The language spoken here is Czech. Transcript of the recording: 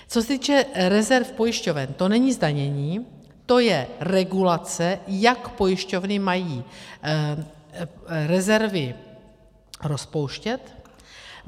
Co se týče rezerv pojišťoven, to není zdanění, to je regulace, jak pojišťovny mají rezervy rozpouštět.